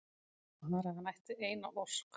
Bara að hann ætti eina ósk!